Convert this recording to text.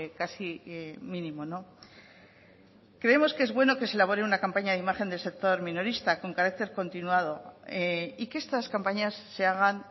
casi mínimo no creemos que es bueno que se elabore una campaña de imagen del sector minorista con carácter continuado y que estas campañas se hagan